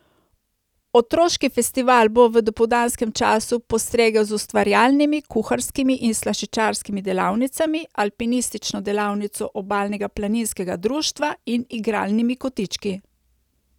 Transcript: Otroški festival bo v dopoldanskem času postregel z ustvarjalnimi, kuharskimi in slaščičarskimi delavnicami, alpinistično delavnico Obalnega planinskega društva in igralnimi kotički.